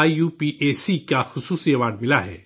I U P A C کا special award ملا ہے